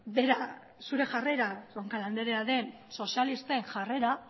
bera zure jarrera roncal andrea den sozialisten jarrera